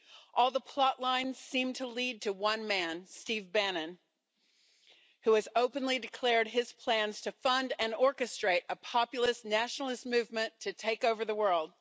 All the plot lines seem to lead to one man Steve Bannon who has openly declared his plans to fund and orchestrate a populist nationalist movement to take over the world.